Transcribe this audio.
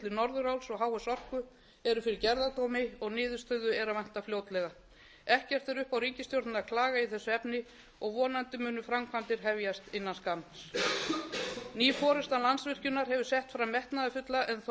norðuráls og h s orku eru fyrir gerðardómi og niðurstöðu er að vænta fljótlega ekkert er upp á ríkisstjórnina að klaga í þessu efni og vonandi munu framkvæmdir hefjast innan skamms ný forusta landsvirkjunar hefur sett fram metnaðarfulla en þó